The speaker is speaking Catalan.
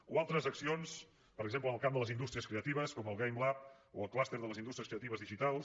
o altres accions per exemple en el camp de les indústries creatives com el gamelab o el clúster de les indústries creatives digitals